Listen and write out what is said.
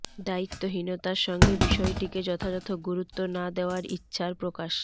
দায়িত্বহীনতার সঙ্গে বিষয়টিকে যথাযথ গুরুত্ব না দেওয়ার ইচ্ছার প্রকাশ